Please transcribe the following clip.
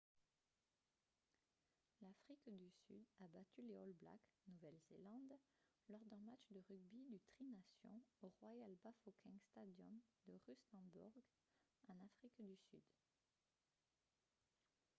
l'afrique du sud a battu les all blacks nouvelle-zélande lors d'un match de rugby du tri-nations au royal bafokeng stadium de rustenburg en afrique du sud